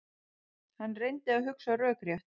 Hann reyndi að hugsa rökrétt.